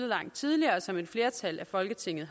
langt tidligere og som et flertal i folketinget